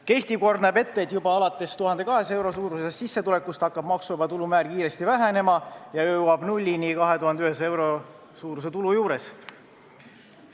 Kehtiv kord näeb ette, et juba alates 1200 euro suurusest sissetulekust hakkab maksuvaba tulu määr kiiresti vähenema ja jõuab 2100 euro suuruse tulu juures nullini.